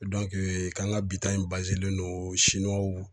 k'an ka bi ta in don Siniwaw